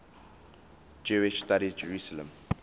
jewish studies jerusalem